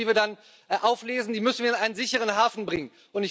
Diese Menschen, die wir dann auflesen, müssen wir in einen sicheren Hafen bringen.